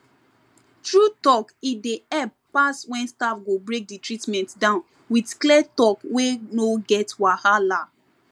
true talk e dey help pass when staff go break the treatment down with clear talk wey no get wahala